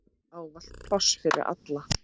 Ávallt pláss fyrir alla.